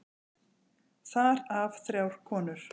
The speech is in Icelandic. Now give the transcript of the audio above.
Þar af þrjár konur.